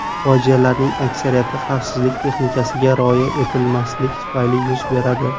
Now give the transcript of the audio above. Fojialarning aksariyati xavfsizlik texnikasiga rioya etilmaslik tufayli yuz beradi.